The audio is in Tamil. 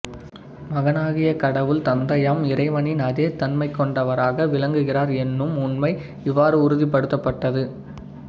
மகனாகிய கடவுள் தந்தையாம் இறைவனின் அதே தன்மை கொண்டவராக விளங்குகிறார் என்னும் உண்மை இவ்வாறு உறுதிப்படுத்தப்பட்டது